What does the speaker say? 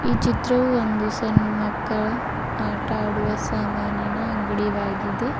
ಈ ಚಿತ್ರವು ಒಂದು ಸಣ್ಣ ಮಕ್ಕಳು ಆಟ ಆಡುವ ಸಾಮಾನಿನ ಅಂಗಡಿವಾಗಿದೆ.